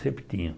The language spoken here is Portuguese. Sempre tinha.